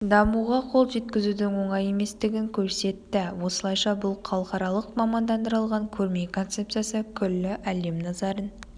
дамуға қол жеткізудің оңай еместігін көрсетті осылайша бұл халықаралық мамандандырылған көрме концепциясы күллі әлем назарын